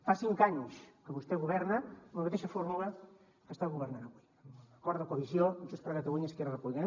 fa cinc anys que vostè governa amb la mateixa fórmula que està governant avui amb acord de coalició amb junts per catalunya i esquerra republicana